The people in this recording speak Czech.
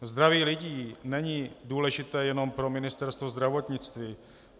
Zdraví lidí není důležité jenom pro Ministerstvo zdravotnictví.